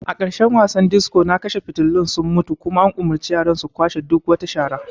A ƙarshen wasan disco na kashe fitulun sun mutu kuma an umurci yaran su kwashe duk wata shara.